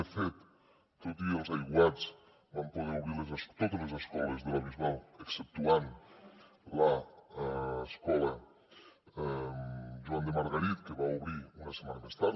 de fet tot i els aiguats vam poder obrir totes les escoles de la bisbal exceptuant l’escola joan de margarit que va obrir una setmana més tard